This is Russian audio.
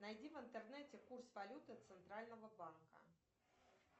найди в интернете курс валюты центрального банка